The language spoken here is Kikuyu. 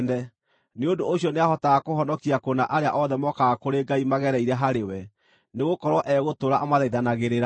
Nĩ ũndũ ũcio nĩahotaga kũhonokia kũna arĩa othe mokaga kũrĩ Ngai magereire harĩ we, nĩgũkorwo egũtũũra amathaithanagĩrĩra.